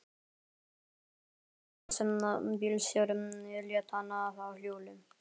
Emil komst út og Jónsi bílstjóri lét hann fá hjólið.